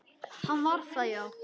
Hann var það, já.